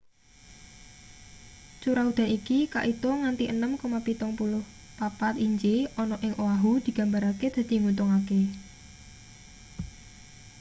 curah udan iki kaitung nganti 6,34 inci ana ing oahu digambarake dadi nguntungake